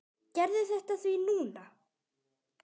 Gerðu þetta því núna!